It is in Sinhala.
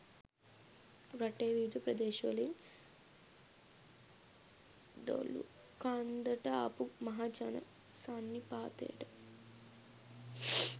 රටේ විවිධ ප්‍රදේශවලින් දොළුකන්දට ආපු මහ ජන සන්නිපාතයට